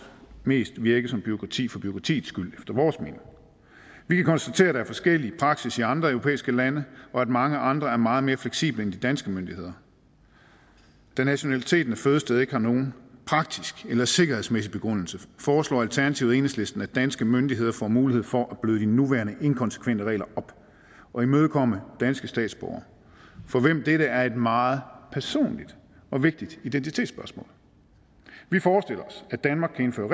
mest virket som bureaukrati for bureaukratiets skyld efter vores mening vi kan konstatere at der er forskellig praksis i andre europæiske lande og at mange andre er meget mere fleksible end de danske myndigheder da nationaliteten af fødested ikke har nogen praktisk eller sikkerhedsmæssig begrundelse foreslår alternativet og enhedslisten at danske myndigheder får mulighed for at bløde de nuværende inkonsekvente regler op og imødekomme danske statsborgere for hvem dette er et meget personligt og vigtigt identitetsspørgsmål vi forestiller os at danmark kan indføre